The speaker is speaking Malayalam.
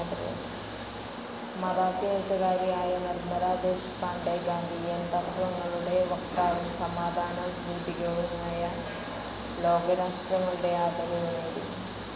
മറാത്തി എഴുത്തുകാരിയായ നിർമല ദേശ്പാണ്ഡെ ഗാന്ധിയൻ തത്വങ്ങളുടെ വക്താവും സമാധാനദൂതികയുമായി ലോകരാഷ്ട്രങ്ങളിടെ ആദരവ് നേടി.